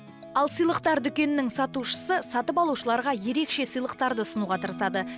ал сыйлықтар дүкенінің сатушысы сатып алушыларға ерекше сыйлықтарды ұсынуға тырысады